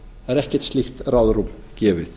það er ekkert slíkt ráðrúm gefið